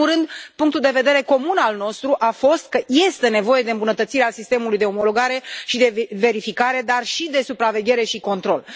În primul rând, punctul de vedere comun al nostru a fost că este nevoie de îmbunătățirea sistemului de omologare și de verificare, dar și de supraveghere și control.